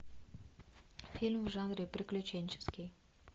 фильм в жанре приключенческий